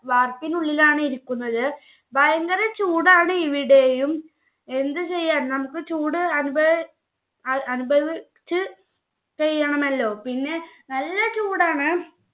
വാർപ്പിനുള്ളിലാണ് ഇരിക്കുന്നത് ഭയങ്കര ചൂടാണ് ഇവിടേയും എന്ത് ചെയ്യാൻ നമ്മുക് ചൂട് അനുഭാവി അനുഭവിച്ച് ചെയ്യണമല്ലോ പിന്നെ നല്ല ചൂടാണ്.